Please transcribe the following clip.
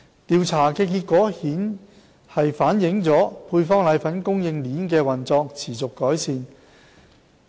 調查的結果反映配方粉供應鏈的運作持續改善。